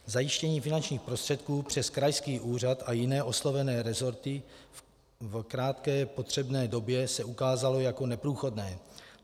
Zajištění finančních prostředků přes krajský úřad a jiné oslovené resorty v krátké potřebné době se ukázalo jako neprůchodné.